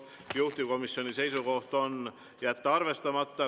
Juhtivkomisjoni seisukoht on jätta see arvestamata.